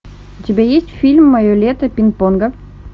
у тебя есть фильм мое лето пинг понга